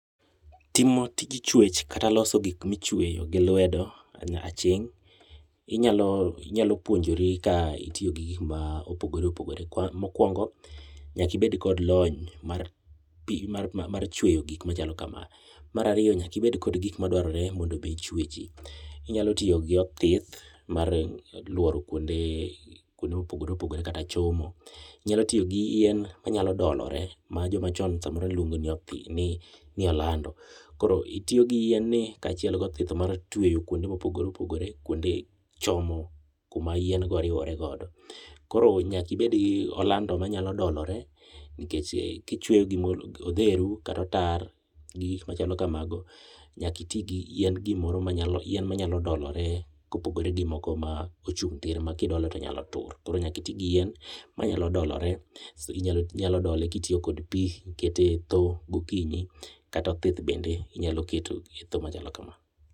Timo tij chwech kata loso gik michweyo gi lwedo aching' inyalo puonjori ka itiyo gi gik mopogore opogore. Mokwongo nyakibed kod lony mar chweyo gik machalo kama. Mar ariyo nyakibed kod gik madwarore mondo be ichwechi. Inyalo tiyo gi othith mar luoro kuonde mopogore opogore kata chomo. Inyalo tiyo gi yien ma nyalo dolore ma joma chon ne luongo ni olando. Koro itiyo gi yien ni kachiel gi othith mar tweyo kuondo mopogore opogore kuonde chomo kuma yien go riworegodo. Koro'nyakibed gi olando manyalo dolore nikech kichweyo gimoro odheru kata otar gi gik machalo kamago nyaki ti gi yien gimoro yien machalo doloro kopogore gi moko mochung' tir ma kidolo to nyalo tur. Koro nyaki ti gi yien manyalo dolore. Inyalo dole kitiyo kod pi ikete e thow gokinyi kata othith bende inyalo keto e thow machalo kama.